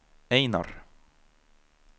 Einar